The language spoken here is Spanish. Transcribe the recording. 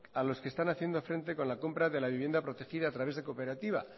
a los que están haciendo frente con la compra de la vivienda protegida a través de cooperativa